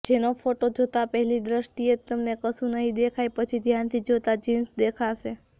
જેનો ફોટો જોતા પહેલી દ્રષ્ટીએ તમને કશુ નહિં દેખાય પછી ધ્યાનથી જોતા જીન્સ દેખાશે